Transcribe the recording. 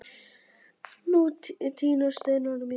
Nú tínast steinarnir mínir.